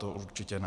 To určitě ne.